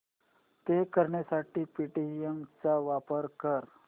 पे करण्यासाठी पेटीएम चा वापर कर